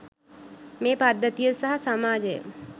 මේ පද්ධතිය සහ සමාජය